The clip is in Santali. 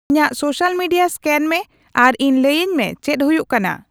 ᱤᱧᱟᱹᱜ ᱥᱳᱥᱟᱞ ᱢᱤᱰᱤᱭᱟ ᱥᱠᱮᱱ ᱢᱮ ᱟᱨ ᱤᱧ ᱞᱟᱹᱭᱟᱹᱧ ᱢᱮ ᱪᱮᱫ ᱦᱩᱭᱩᱜ ᱠᱟᱱᱟ